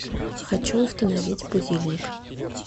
хочу установить будильник